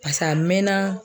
pas'a mɛna